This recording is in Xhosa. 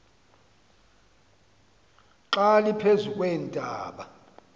xa liphezu kweentaba